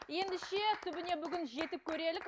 ендеше түбіне бүгін жетіп көрелік